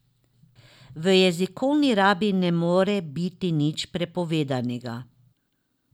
V jezikovni rabi ne more biti nič prepovedanega.